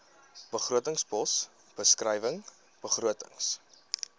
begrotingspos beskrywing begrotings